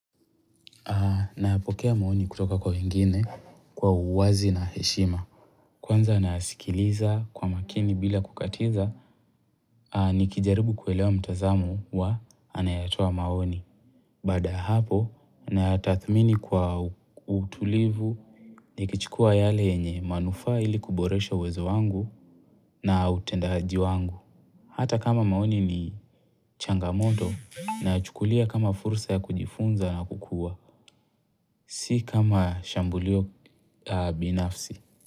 Napokea maoni kutoka kwa wengine kwa uwazi na heshima. Kwanza nasikiliza kwa makini bila kukatiza, nikijaribu kuelewa mtazamo wa anayetoa maoni. Baada ya hapo, nathmini kwa utulivu, nikichukua yale yenye manufaa ili kuboresha uwezo wangu na utendaji wangu. Hata kama maoni ni changamoto, nachukulia kama fursa ya kujifunza na kukua. Si kama shambulio binafsi.